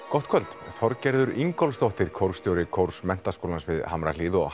gott kvöld Þorgerður Ingólfsdóttir kórstjóri kórs Menntaskólans við Hamrahlíð og